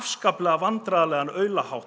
vandræðalegan